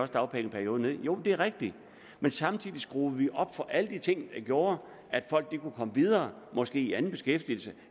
dagpengeperioden ned i jo det er rigtigt men samtidig skruede vi op for alle de ting der gjorde at folk kunne komme videre måske i anden beskæftigelse